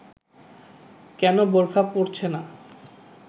কেন বোরখা পরছে না